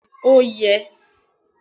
bẹẹni o yẹ